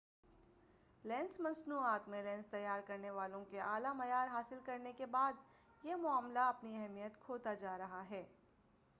lens مصنوعات میں lens تیار کرنے والوں کے اعلی معیار حاصل کر لینے کے بعد یہ معاملہ اپنی اہمیت کھوتا جا رہا ہے